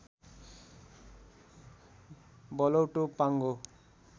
बलौटो पाँगो